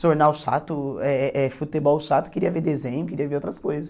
Jornal chato, eh futebol chato, queria ver desenho, queria ver outras coisas.